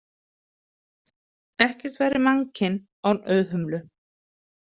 Ekkert væri mannkyn án Auðhumlu.